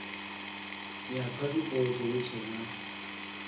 ya phasipoto hu tshee na